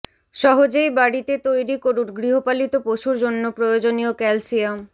সহজেই বাড়িতে তৈরি করুন গৃহপালিত পশুর জন্য প্রয়োজনীয় ক্যালসিয়াম